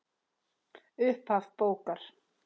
Upphaf bókar